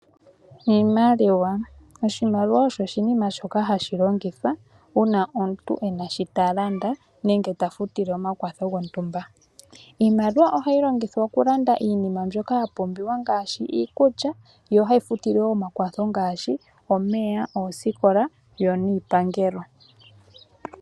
Oshimaliwa osho oshinima shoka hashi longithwa uuna omuntu ena shi ta landa nenge ta futile omakwatho gontumba. Iimaliwa ohayi longithwa okulanda iinima mbyoka ya pumbiwa ngaashi iikulya. Yo ohayi futile wo omakwatho ngaashi omeya, oosikola yo niipangelo.